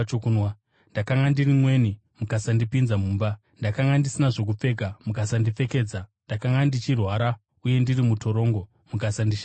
ndakanga ndiri mweni mukasandipinza mumba, ndakanga ndisina zvokupfeka mukasandipfekedza, ndakanga ndichirwara uye ndiri mutorongo mukasandishanyira.’